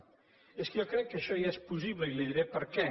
és que jo crec que això ja és possible i li diré per què